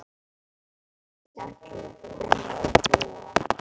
Hér er líka skemmtilegt að vinna og búa.